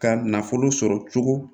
Ka nafolo sɔrɔ cogo